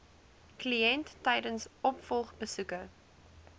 kliënt tydens opvolgbesoeke